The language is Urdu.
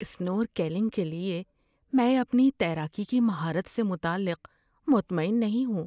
اسنورکلنگ کے لیے میں اپنی تیراکی کی مہارت سے متعلق مطمئن نہیں ہوں۔